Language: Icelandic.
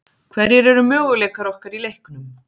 Hverjir eru möguleikar okkar í leiknum?